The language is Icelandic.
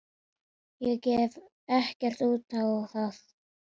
Ég gaf ekkert út á þetta.